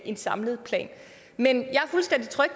en samlet plan men